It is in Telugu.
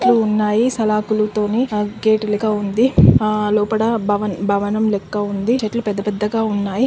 చెట్లు ఉన్నాయి సలకులతోని గేట్ లాగా ఉంది లోపట భవనం లెక్క ఉంది చెట్లు పెద్ద పెద్దగా ఉన్నాయి